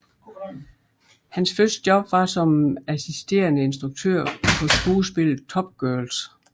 Hans første job var som assisterende instruktør på skuespillet Top Girls